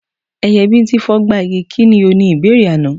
Ẹyẹ bíńtín fogba igi, kí ni o? Ni ìbéèrè àná.